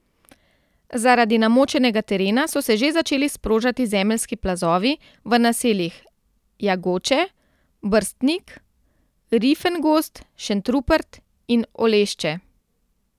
Zaradi namočenega terena so se že začeli sprožati zemeljski plazovi v naseljih Jagoče, Brstnik, Rifengozd, Šentrupert in Olešče.